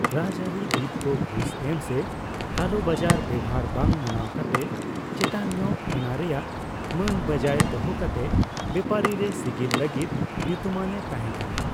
ᱨᱟᱡᱽᱟᱨᱤ ᱵᱤᱫ ᱠᱚ ᱜᱷᱩᱥ ᱮᱢ ᱥᱮ ᱠᱟᱞᱳᱵᱟᱡᱟᱨ ᱵᱮᱣᱦᱟᱨ ᱵᱟᱝ ᱢᱟᱱᱟᱣ ᱠᱟᱛᱮ ᱪᱮᱛᱟᱱᱧᱚᱜ ᱚᱱᱟᱨᱮᱭᱟᱜ ᱢᱟᱱ ᱵᱟᱹᱡᱟᱹᱭ ᱫᱚᱦᱚ ᱠᱟᱛᱮ ᱵᱮᱯᱟᱨᱤ ᱨᱮ ᱥᱤᱜᱤᱞ ᱞᱟᱹᱜᱤᱫ ᱧᱩᱛᱩᱢᱟᱱᱼᱮ ᱛᱟᱦᱮᱸ ᱠᱟᱱᱟ ᱾